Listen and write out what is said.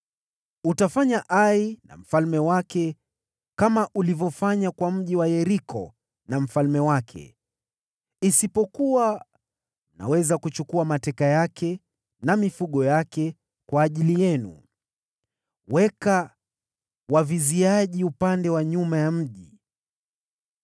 Utafanya Ai na mfalme wake kama ulivyofanya kwa mji wa Yeriko na mfalme wake, isipokuwa mnaweza kuchukua mateka wake na mifugo wake, kwa ajili yenu. Weka waviziaji upande wa nyuma ya mji.”